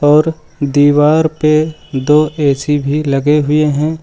और दीवार पे दो ऐ_सी भी लगे हुए हैं।